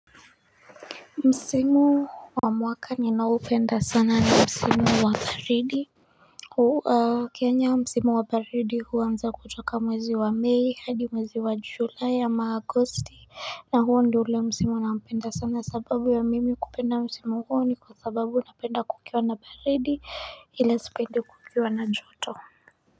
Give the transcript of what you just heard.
Msimu wa mwaka ni nao penda sana na Msimu wa baridi Kenya Msimu wa baridi huanza kutoka mwezi wa May hadi mwezi wa July ama Agosti na huu ndo ule Msimu naupenda sana sababu wa mimi kupenda Msimu huu ni kwa sababu na penda kukiwa na baridi ila sipendi kukiwa na joto.